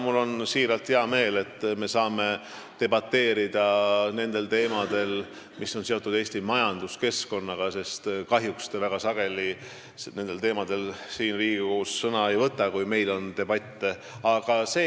Mul on siiralt hea meel, et me saame debateerida nendel teemadel, mis on seotud Eesti majanduskeskkonnaga, sest kahjuks te väga sageli nendel teemadel Riigikogus sõna ei võta, kui meil siin debatt on.